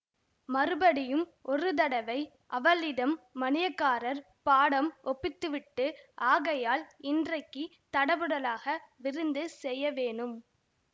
மறுபடியும் ஒரு தடவை அவளிடம் மணியக்காரர் பாடம் ஒப்புவித்துவிட்டு ஆகையால் இன்றைக்கு தடபுடலாக விருந்து செய்ய வேணும்